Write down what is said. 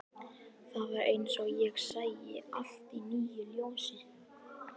Það var eins og ég sæi allt í nýju ljósi.